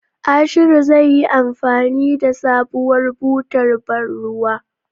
Ashiru zai yi anfani da sabuwar butar bar ruwan.